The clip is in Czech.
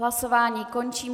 Hlasování končím.